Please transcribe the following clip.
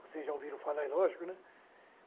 Vocês já ouviram falar, é lógico, né?